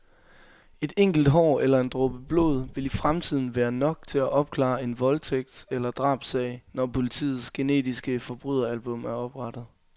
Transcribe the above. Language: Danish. Et enkelt hår eller en dråbe blod vil i fremtiden være nok til at opklare en voldtægtseller drabssag, når politiets genetiske forbryderalbum er oprettet.